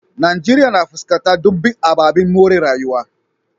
Najeriya na fuskantar dumbin ababen more rayuwa.